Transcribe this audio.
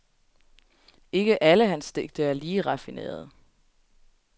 Ikke alle hans digte er lige raffinerede.